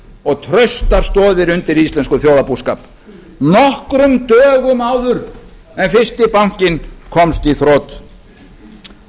og traustar stoðir undir íslenskum þjóðarbúskap nokkrum dögum áður en fyrsti bankinn komst í þrot